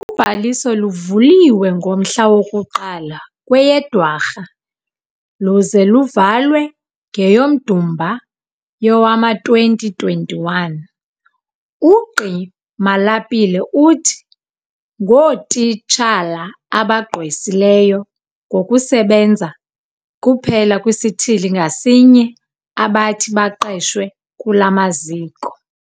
Ubhaliso luvuliwe ngomhla woku-1 kweyeDwarha luze luvalwe kweyoMdumba yowama-2021. UGqi Malapile uthi ngootitshala abagqwesileyo ngokusebenza kuphela kwisithili ngasinye abathi baqeshwe kula maziko.